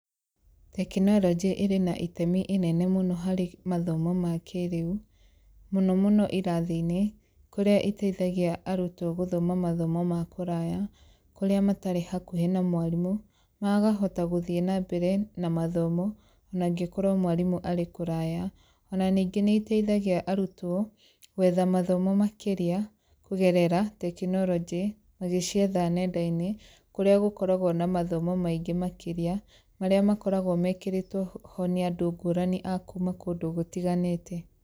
Tekinoronjῖ ῖrῖ na itemi inene mῦno harῖ mathomo ma kῖrῖu, mῦno mῦno irathi-inῖ kῦrῖa ῖteithagia arutwo gῦthoma mathomo ma kῦraya, kῦrῖa matarῖ hakuhῖ na mwarimῦ makahota gῦthie na mbere na mathomo onangῖkorwo mwarimῦ arῖ kuraya, ona ningῖ nῖ ῖteithagia arutwo, gwetha mathomo makῖria, kῦgerera tekinoronjῖ magῖcietha nenda-inῖ kῦrῖa gῦkoragwo na mathomo maingῖ makῖria, marῖa makoragwo mekῖrῖtwo ho nῖ andῦ ngῦrani akuma kῦndῦ gutiganῖte.